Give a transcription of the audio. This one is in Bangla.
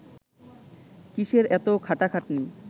কিসের এত খাটাখাটনি